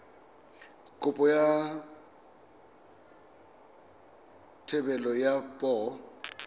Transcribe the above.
kopo ya thebolo ya poo